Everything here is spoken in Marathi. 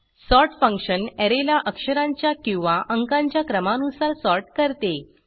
सॉर्ट फंक्शन ऍरेला अक्षरांच्या किंवा अंकांच्या क्रमानुसार सॉर्ट करते